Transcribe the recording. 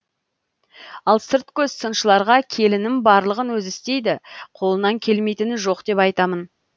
ал сырт көз сыншыларға келінім барлығын өзі істейді қолынан келмейтіні жоқ деп айтамын